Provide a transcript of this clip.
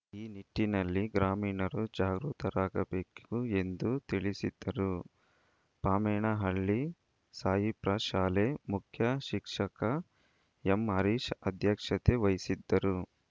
ಈ ನಿಟ್ಟಿನಲ್ಲಿ ಗ್ರಾಮೀಣರೂ ಜಾಗೃತರಾಗಬೇಕು ಎಂದು ತಿಳಿಸಿದರು ಪಾಮೇನಹಳ್ಳಿ ಸಹಿಪ್ರಾ ಶಾಲೆ ಮುಖ್ಯ ಶಿಕ್ಷಕ ಎಂಹರೀಶ್ ಅಧ್ಯಕ್ಷತೆ ವಹಿಸಿದ್ದರು